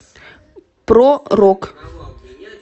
про рок